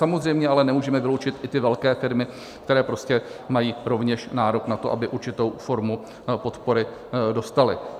Samozřejmě ale nemůžeme vyloučit i ty velké firmy, které prostě mají rovněž nárok na to, aby určitou formu podpory dostaly.